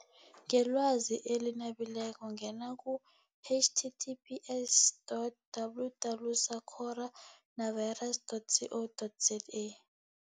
Ngelwazi eli nabileko ngena ku-H T T P S dot double double sacoro navirus dot C O dot Z A.